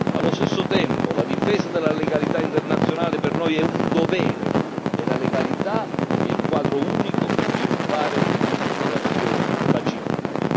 Allo stesso tempo, la difesa della legalità internazionale per noi è un dovere, e la legalità è il quadro unico per sviluppare future relazioni pacifiche.